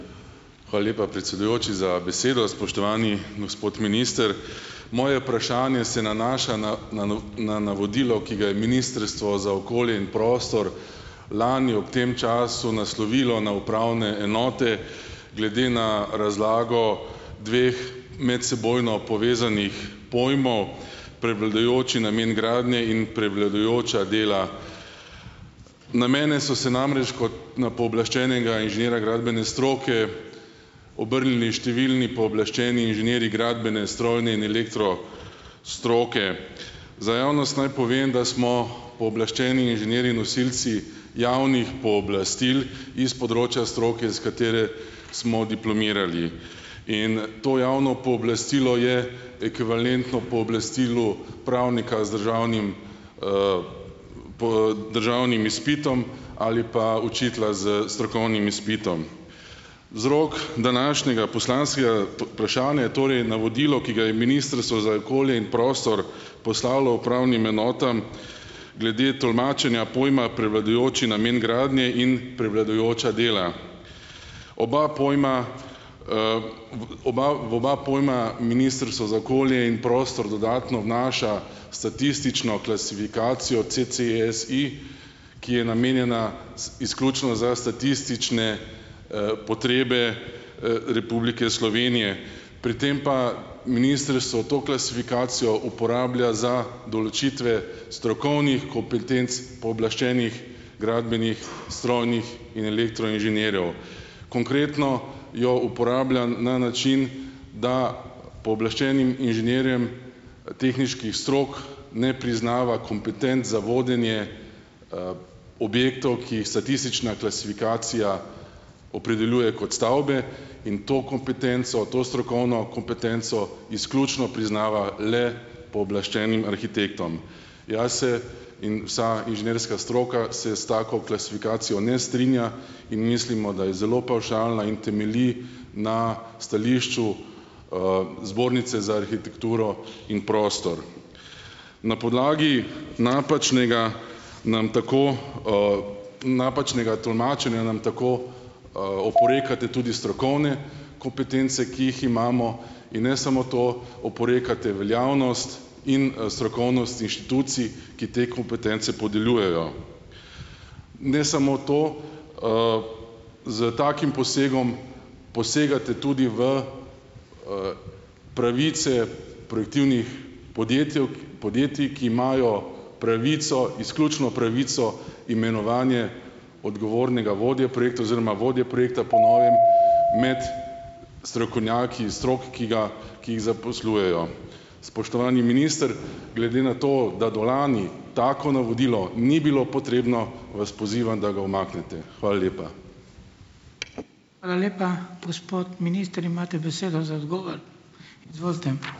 Hvala lepa, predsedujoči, za besedo. Spoštovani gospod minister. Moje vprašanje se nanaša na na navodilo, ki ga je ministrstvo za okolje in prostor lani ob tem času naslovilo na upravne enote glede na razlago dveh medsebojno povezanih pojmov: prevladujoči namen gradnje in prevladujoča dela. Na mene so se namreč kot na pooblaščenega inženirja gradbene stroke obrnili številni pooblaščeni inženirji gradbene, strojne in elektro stroke. Za javnost naj povem, da smo pooblaščeni inženirji nosilci javnih pooblastil iz področja stroke, s katere smo diplomirali. In to javno pooblastilo je ekvivalentno pooblastilu pravnika z državnim, državnim izpitom ali pa učitelja s strokovnim izpitom. Vzrok današnjega poslanskega, vprašanja je torej navodilo, ki ga je ministrstvo za okolje in prostor poslalo upravnim enotam glede tolmačenja pojma prevladujoči namen gradnje in prevladujoča dela. Oba pojma, v oba pojma ministrstvo za okolje in prostor dodatno vnaša statistično klasifikacijo CC-SI, ki je namenjena izključno za statistične, potrebe, Republike Slovenije. Pri tem pa ministrstvo to klasifikacijo uporablja za določitve strokovnih kompetenc pooblaščenih gradbenih, strojnih in elektro inženirjev. Konkretno jo uporablja na način, da pooblaščenim inženirjem tehniških strok ne priznava kompetenc za vodenje, objektov, ki statistična klasifikacija opredeljuje kot stavbe, in to kompetenco, to strokovno kompetenco izključno priznava le pooblaščenim arhitektom. Jaz se, in vsa inženirska stroka, se s tako klasifikacijo ne strinja in mislimo, da je zelo pavšalna in temelji na stališču, Zbornice za arhitekturo in prostor. Na podlagi napačnega nam tako, napačnega tolmačenja nam tako, oporekate tudi strokovne kompetence, ki jih imamo, in ne samo to, oporekate veljavnost in, strokovnost inštitucij, ki te kompetence podeljujejo. Ne samo to, s takim posegom posegate tudi v, pravice projektivnih podjetij, ki imajo pravico, izključno pravico imenovanja odgovornega vodja projektov oziroma vodje projekta po novem med strokovnjaki iz strok, ki ga, ki jih zaposlujejo. Spoštovani minister, glede na to, da do lani tako navodilo ni bilo potrebno, vas pozivam, da ga umaknete. Hvala lepa. Hvala lepa. Gospod minister, imate besedo za odgovor. Izvolite.